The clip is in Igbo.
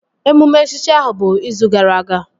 Emume echichi ahụ bụ izu gara aga